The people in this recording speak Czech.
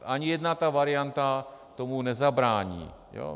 Ani jedna ta varianta tomu nezabrání.